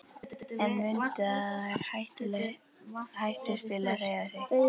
En mundu að það er hættuspil að hreyfa sig.